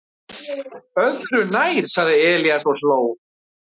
"""Öðru nær, sagði Elías og hló."""